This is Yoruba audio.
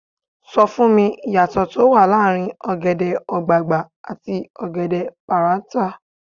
Sọ fún mi, ìyàtọ̀ tó wà láàrin ọ̀gẹ̀dẹ̀ ọ̀gbagbà àti ọ̀gẹ̀dẹ̀ páráǹtà.